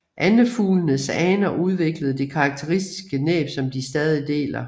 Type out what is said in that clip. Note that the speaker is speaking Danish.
Andefuglenes aner udviklede det karakteristiske næb som de stadig deler